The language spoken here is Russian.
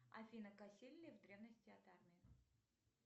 афина косили ли в древности от армии